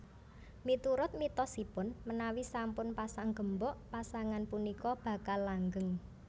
Miturut mitosipun menawi sampun pasang gembok pasangan punika bakal langgeng